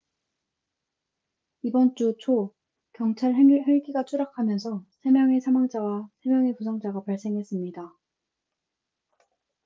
이번 주 초 경찰 헬기가 추락하면서 세 명의 사망자와 세 명의 부상자가 발생했습니다